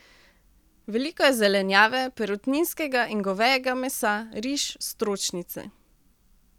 Veliko je zelenjave, perutninskega in govejega mesa, riž, stročnice...